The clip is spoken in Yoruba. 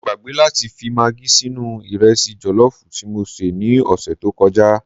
Mọ gbàgbé láti fi magí sínú Ìrẹsì jọ̀lọ́fù tí mọ sé ni ọsẹ̀ tọ kọjá